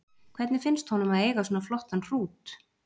Hvernig finnst honum að eiga svona flottan hrút?